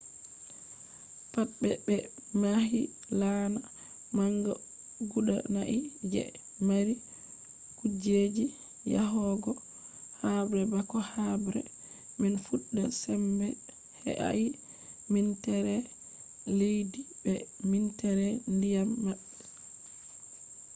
pat be ɓe mahi laana manga guda nai je mari kujeji yahogo habre bako habre man fuɗɗa sembe he’ai minteere leddi be minteere ndiyam maɓɓe